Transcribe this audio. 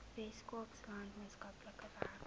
weskaapland maatskaplike werk